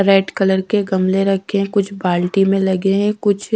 red colour के गमले रखे हैं कुछ बाल्टी में लगे हैं कुछ--